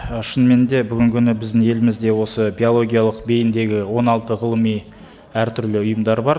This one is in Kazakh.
і шынымен де бүгінгі күні біздің елімізде осы биологиялық бейімдегі он алты ғылыми әртүрлі ұйымдар бар